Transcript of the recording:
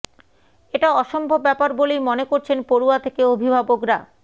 এটা অসম্ভব ব্যাপার বলেই মনে করছেন পড়ুয়া থেকে অভিভাবকরা